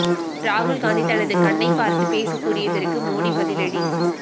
ராகுல் காந்தி தனது கண்ணை பார்த்து பேச கூறியதற்கு மோடி பதிலடி